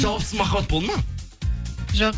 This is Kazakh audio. жауапсыз махаббат болды ма жоқ